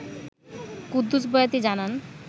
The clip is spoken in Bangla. কুদ্দুস বয়াতি জানান